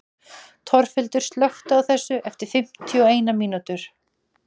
Torfhildur, slökktu á þessu eftir fimmtíu og eina mínútur.